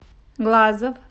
глазов